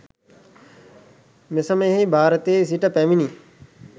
මෙසමයෙහි භාරතයේ සිට පැමිණි